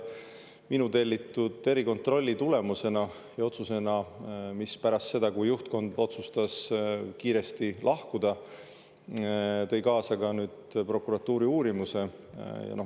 Minu tellitud erikontrolli tulemus, otsus tõi pärast seda, kui juhtkond otsustas kiiresti lahkuda, kaasa ka prokuratuuri uurimise.